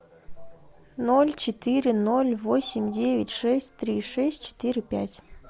ноль четыре ноль восемь девять шесть три шесть четыре пять